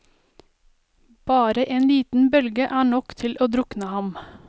Bare en liten bølge er nok til å drukne ham.